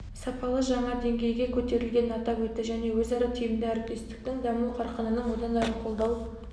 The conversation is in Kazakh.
сапалы жаңа деңгейге көтерілгенін атап өтті және өзара тиімді әріптестіктің даму қарқынының одан әрі қолдау